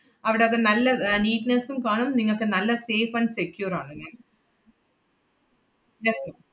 അവടൊക്കെ നല്ല air neatness ഉം കാണും, നിങ്ങക്ക് നല്ല safe and secure ആണ് ma'am